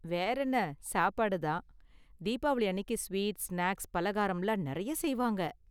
வேறென்ன, சாப்பாடு தான். தீபாவளி அன்னிக்கு ஸ்வீட், ஸ்நாக்ஸ், பாலகாரம்லாம் நிறைய செய்வாங்க.